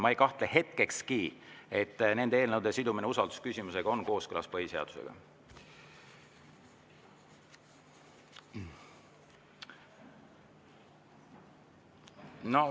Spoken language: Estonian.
Ma ei kahtle hetkekski, et nende eelnõude sidumine usaldusküsimusega on kooskõlas põhiseadusega.